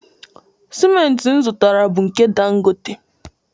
Siment m butara bụ nke Dangote.